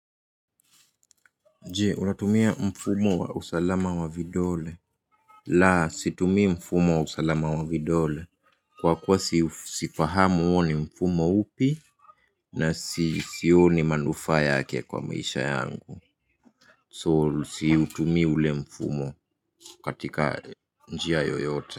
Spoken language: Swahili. Je unatumia mfumo wa usalama wa vidole? La situmii mfumo wa usalama wa vidole. Kwa kuwa siu, sifahamu huo ni mfumo upi. Na sioni manufaa yake kwa maisha yangu. So, siutumii ule mfumo katika njia yoyote.